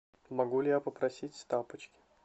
могу ли я попросить тапочки